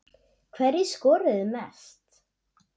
Hverjir skoruðu mest?